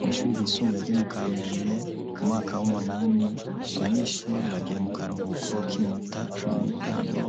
Mu ishuri ryisumbuye ryo mu Kamenge, mu mwaka w'umunani abanyeshuri bagiye mu karuhuko k'iminota cumi n'itanu,